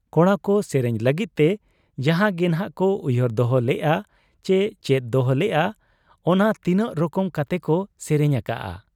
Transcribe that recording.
ᱠᱚᱲᱟᱠᱚ ᱥᱮᱨᱮᱧ ᱞᱟᱹᱜᱤᱫ ᱛᱮ ᱡᱟᱦᱟᱸ ᱜᱮᱱᱷᱟᱜ ᱠᱚ ᱩᱭᱦᱟᱹᱨ ᱫᱚᱦᱚ ᱞᱮᱜ ᱟ ᱪᱤ ᱪᱮᱫ ᱫᱚᱦᱚᱞᱮᱜ ᱟ, ᱚᱱᱟ ᱛᱤᱱᱟᱹᱜ ᱨᱚᱠᱚᱢ ᱠᱟᱛᱮᱠᱚ ᱥᱮᱨᱮᱧ ᱟᱠᱟᱜ ᱟ ᱾